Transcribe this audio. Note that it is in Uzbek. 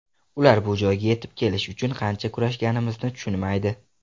Ular bu joyga yetib kelish uchun qancha kurashganimizni tushunmaydi.